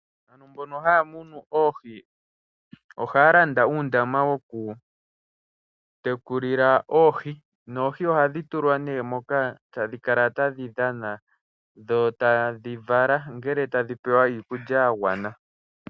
Mbono haya munu Oohi ohaya landa uundama woku tekulila Oohi. Noohi ohadhi tulwa nee moka tadhi kala tadhi dhana dho tadhi vala, ongele tadhi pewa iikulya ya gwana.